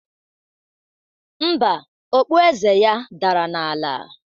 Mba, okpu eze ya dara n'ala